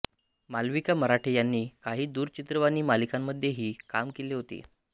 मालविका मराठे यांनी काही दूरचित्रवाणी मालिकांमध्येही काम केले होते